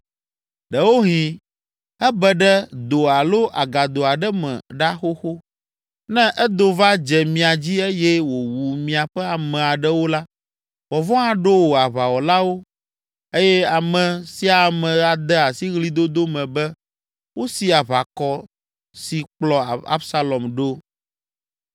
Ɖewohĩ ebe ɖe do alo agado aɖe me ɖa xoxo! Ne edo va dze mia dzi eye wòwu miaƒe ame aɖewo la, vɔvɔ̃ aɖo wò aʋawɔlawo eye ame sia ame ade asi ɣlidodo me be wosi aʋakɔ si kplɔ Absalom ɖo.